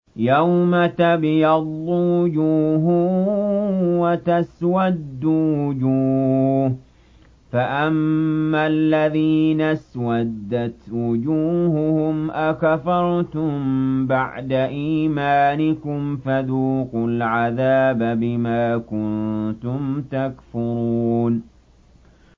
يَوْمَ تَبْيَضُّ وُجُوهٌ وَتَسْوَدُّ وُجُوهٌ ۚ فَأَمَّا الَّذِينَ اسْوَدَّتْ وُجُوهُهُمْ أَكَفَرْتُم بَعْدَ إِيمَانِكُمْ فَذُوقُوا الْعَذَابَ بِمَا كُنتُمْ تَكْفُرُونَ